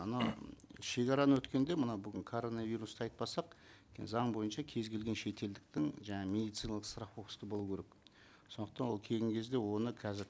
ана шегараны өткенде мына бүгін коронавирусты айтпасақ заң бойынша кез келген шетелдіктің жаңа медициналық страховкасы болу керек сондықтан ол келген кезде оны қазір